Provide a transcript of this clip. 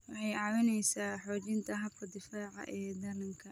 Waxay caawisaa xoojinta habka difaaca ee dhallaanka.